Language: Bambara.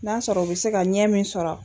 N'a sɔrɔ u bɛ se ka ɲɛ min sɔrɔ